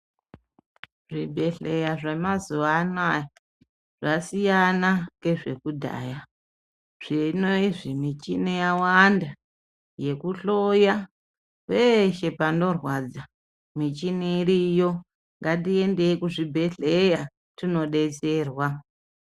Zvibhedhleya zvamazuva anaya zvasiyana ngezvekudhaya. Zvinozvi muchini yawanda yekuhloya peshe panirwadza michini iriyo ngatiendei kuchibhedhleya tinobetserwa.